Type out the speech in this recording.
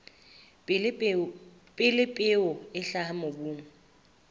pele peo e hlaha mobung